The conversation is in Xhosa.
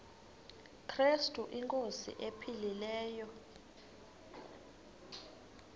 krestu inkosi ephilileyo